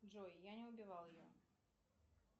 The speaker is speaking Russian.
джой я не убивал ее